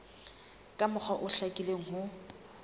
ka mokgwa o hlakileng ho